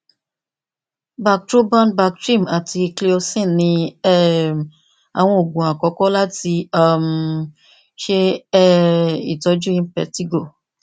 bactroban bactrim ati cleocin ni um awọn oogun akọkọ lati um ṣe um itọju impetigo